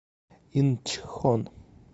инчхон